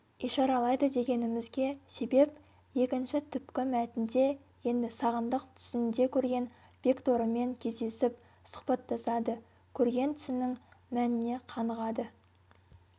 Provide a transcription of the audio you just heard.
ишаралайды дегенімізге себеп екінші түпкі мәтінде енді сағындық түсінде көрген бекторымен кездесіп сұхбаттасады көрген түсінің мәніне қанығады